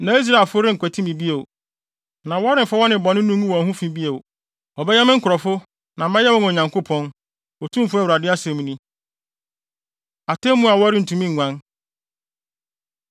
Na Israelfo renkwati me bio, na wɔremfa wɔn nnebɔne no ngu wɔn ho fi bio. Wɔbɛyɛ me nkurɔfo na mɛyɛ wɔn Nyankopɔn, Otumfo Awurade asɛm ni.’ ” Atemmu A Wɔrentumi Nguan